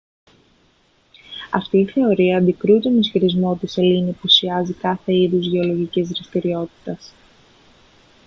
αυτή η θεωρεία αντικρούει τον ισχυρισμό ότι η σελήνη απουσιάζει κάθε είδους γεωλογικής δραστηριότητας